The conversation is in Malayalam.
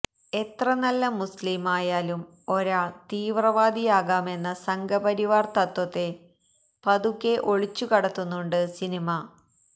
എത്ര നല്ല മുസ്ലീമായാലും ഒരാള് തീവ്രവാദിയാകാമെന്ന സംഘപരിവാര് തത്ത്വത്തെ പതുക്കെ ഒളിച്ചു കടത്തുന്നുണ്ട് സിനിമ